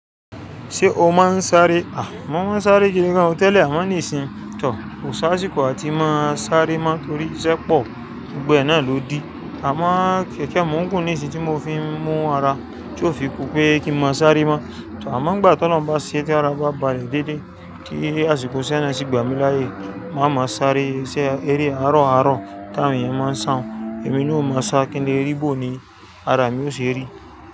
Ṣé o máa ń sáré? A! Mò ń sáré gidi gan o tẹ́lẹ̀, àmọ́ nísinsìnyí tọ̀, kò sá ti kò à tíì máa sáré mọ́ torí iṣẹ́ pọ̀, gbogbo ẹ̀ náà ló di. Àmọ́ kẹ̀kẹ́ mó gùn nìsìnyí tí mo fi ń mú ara tí ó fi kù pé kí n má sáré mọ́. Amọ́ gbà tí Ọlọ́run bá ṣe tí ara bá balẹ̀ déédéé kí àsìkò iṣẹ́ náà ṣì gbà mí láyè máa máa sáré ṣé eré àárọ̀ àárọ̀ ti àwọn ẹ̀yàn máa ń sàn, èmi ni ó máa sá kí n lè rí gbòó ni ara mi ó ṣe rí.